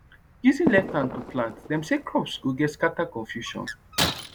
using left hand to plant dem say crops go get scatter confusion